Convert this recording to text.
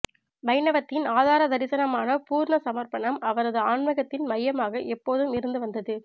வைணவத்தின் ஆதார தரிசனமான பூர்ண சமர்ப்பணம் அவரது ஆன்மீகத்தின் மையமாக எப்போதும் இருந்து வந்தது